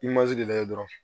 lajɛ dɔrɔn